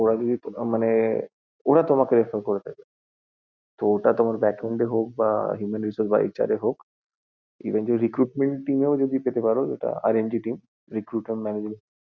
মানে ওরা তোমাকে refer করে দেবে, তো ওটা তোমার backend এ হোক বা Human Resources HR এ হোক, recruitment team এও যদি পেতে পারো যেটা HR and team ওটাও খুব ভালো!